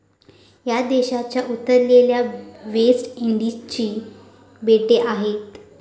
या देशाच्या उत्तरेला वेस्ट इंडिजची बेटे आहेत.